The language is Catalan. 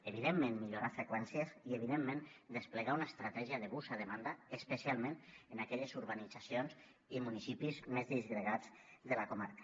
evidentment millorar freqüències i evidentment desplegar una estratègia de bus a demanda especialment en aquelles urbanitzacions i municipis més disgregats de la comarca